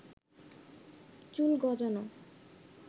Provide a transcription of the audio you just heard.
চুল গজানো